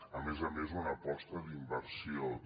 a més a més una aposta d’inversió també